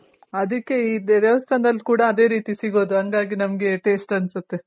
ಅದಕ್ಕೆ ಇದು ದೇವಸ್ಥಾನದಲ್ ಕೂಡ ಅದೆ ರೀತಿ ಸಿಗೋದು ಹಂಗಾಗಿ ನಮ್ಗೆ taste ಅನ್ಸುತ್ತೆ.